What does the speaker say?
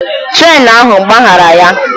Trén ahụ gbaghara ya